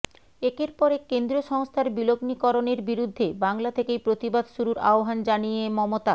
একের পর এক কেন্দ্রীয় সংস্থার বিলগ্নিকরণের বিরুদ্ধে বাংলা থেকেই প্রতিবাদ শুরুর আহ্বান জানিয়ে মমতা